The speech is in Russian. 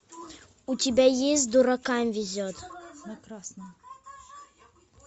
у тебя есть дуракам везет